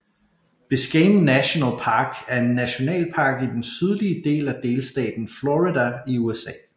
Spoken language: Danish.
Biscayne National Park er en nationalpark i den sydlige del af delstaten Florida i USA